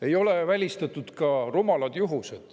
Ei ole välistatud ka rumalad juhused.